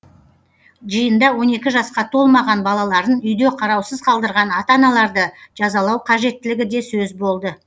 жиында он екі жасқа толмаған балаларын үйде қараусыз қалдырған ата аналарды жазалау қажеттілігі де сөз боды